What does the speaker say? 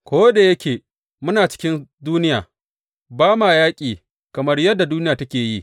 Ko da yake muna cikin duniya, ba ma yaƙi kamar yadda duniya take yi.